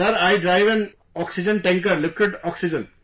Sir, I drive an oxygen tanker...for liquid oxygen